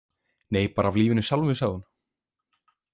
Nei, bara af lífinu sjálfu, sagði hún.